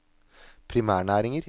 primærnæringer